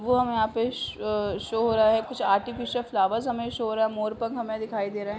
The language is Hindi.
वो वहा पे शो हो रहा है। कुछ आर्टिफीसियल फ्लावर हमे शो हो रहा है। मोरपंख हमे दिखाई दे रहे हैं।